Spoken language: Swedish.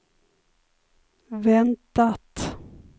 väntat